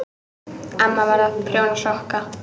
Amma var að prjóna sokka.